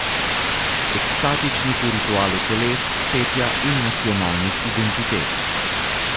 Ekstatičnih v ritualu teles, petja in nacionalnih identitet.